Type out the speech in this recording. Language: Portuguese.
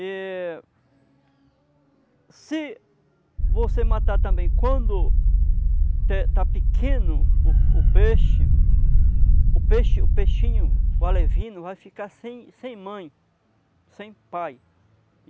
Eh, se você matar também quando está pequeno o peixe, o peixinho, o alevino, vai ficar sem mãe, sem pai.